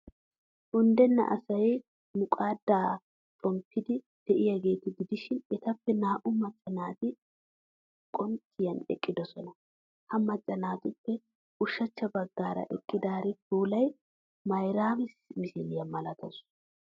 Unddenna asay muqqadda xomppiiddi de'iyaageeta gidishin, etappe naa''u macca naati qoncciyan eqqidoosona. Ha macca naatuppe ushachcha baggaara eqqidaari puulay Mayraami misiliyaa malatawusu.